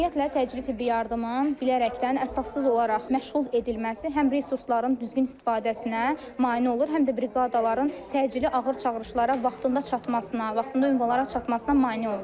Ümumiyyətlə təcili tibbi yardımın bilərəkdən əsassız olaraq məşğul edilməsi həm resursların düzgün istifadəsinə mane olur, həm də briqadaların təcili, ağır çağırışlara vaxtında çatmasına, vaxtında ünvanlara çatmasına mane olur.